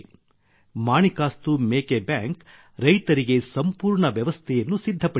ಮಾಣಿಕಸ್ತು ಮೇಕೆ ಬ್ಯಾಂಕ್ ರೈತರಿಗೆ ಸಂಪೂರ್ಣ ವ್ಯವಸ್ಥೆಯನ್ನು ಸಿದ್ಧಪಡಿಸಿದೆ